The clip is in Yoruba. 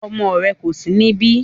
Ọmọ rẹ ko sí níbi